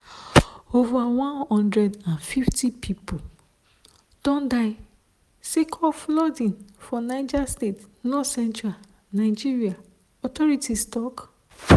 ova one hundred and fifty pipo don die sake of flooding for niger state northcentral nigeria authorities tok.